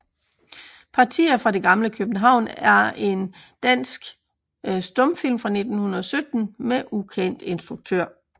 Partier fra det gamle København er en dansk stumfilm fra 1917 med ukendt instruktør